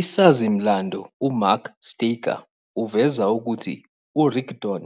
Isazi-mlando uMark Staker uveza ukuthi uRigdon